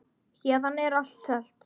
Héðan er allt selt.